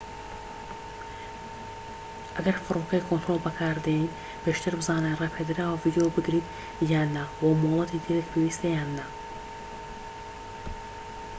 ئەگەر فرۆکەی کۆنترۆڵ بەکاردێنیت پێشتر بزانە ڕێپێدراوە ڤیدۆ بگریت یان نا وە مۆڵەتی ترت پێویستە یان نا